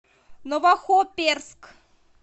новохоперск